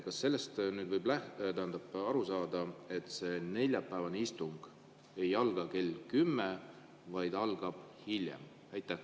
Kas sellest võib aru saada, et neljapäevane istung ei alga kell kümme, vaid algab hiljem?